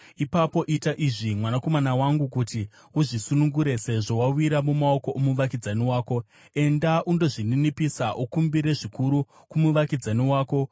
ipapo ita izvi, mwanakomana wangu, kuti uzvisunungure, sezvo wawira mumaoko omuvakidzani wako! Enda undozvininipisa; ukumbire zvikuru kumuvakidzani wako!